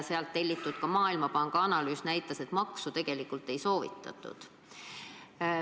Sealt telliti Maailmapanga analüüs, kus maksu tegelikult ei soovitatud.